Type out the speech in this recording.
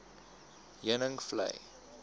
heuningvlei